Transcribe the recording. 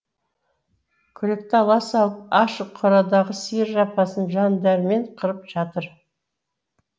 күректі ала салып ашық қорадағы сиыр жапасын жандәрмен қырып жатыр